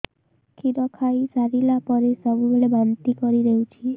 କ୍ଷୀର ଖାଇସାରିଲା ପରେ ସବୁବେଳେ ବାନ୍ତି କରିଦେଉଛି